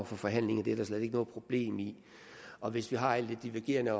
for forhandlinger det er der slet ikke noget problem i og hvis vi har lidt divergerende